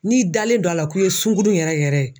N'i dalen do a la k'i ye sunkudu yɛrɛ yɛrɛ ye